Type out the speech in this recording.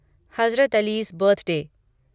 Hazrat Ali's birthday